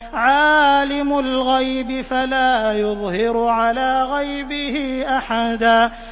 عَالِمُ الْغَيْبِ فَلَا يُظْهِرُ عَلَىٰ غَيْبِهِ أَحَدًا